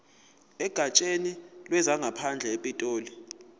egatsheni lezangaphandle epitoli